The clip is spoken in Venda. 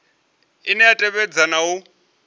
ine ya tevhedza na u